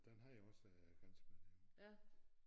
Den havde jeg også ganske med derover